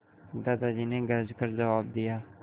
दादाजी ने गरज कर जवाब दिया